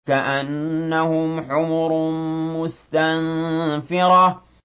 كَأَنَّهُمْ حُمُرٌ مُّسْتَنفِرَةٌ